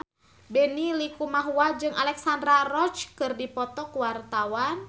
Benny Likumahua jeung Alexandra Roach keur dipoto ku wartawan